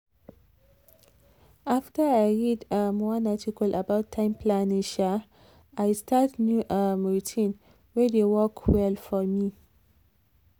after i read um one article about time planning um i start new um routine wey dey work well for me.